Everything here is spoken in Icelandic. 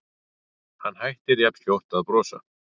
Hann hættir jafnskjótt að brosa.